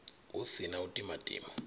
hu si na u timatima